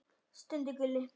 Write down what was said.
stundi Gulli.